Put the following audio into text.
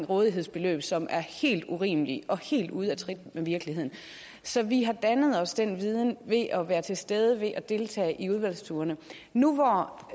rådighedsbeløbet som er helt urimelige og helt ude af trit med virkeligheden så vi har dannet os den viden ved at være til stede ved at deltage i udvalgsturene nu hvor